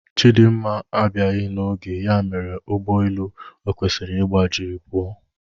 Chidimma abiaghi na oge ya mere Ụgbọ elu okwesiri ịgba jiri puo